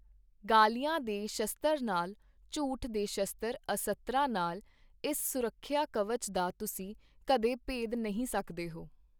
ਗਾਲ਼ੀਆਂ ਦੇ ਸ਼ਸਤਰ ਨਾਲ, ਝੂਠ ਦੇ ਸ਼ਸਤਰ ਅਸਤਰਾਂ ਨਾਲ ਇਸ ਸੁਰੱਖਿਆ ਕਵਚ ਦਾ ਤੁਸੀਂ ਕਦੇ ਭੇਦ ਨਹੀਂ ਸਕਦੇ ਹੋ।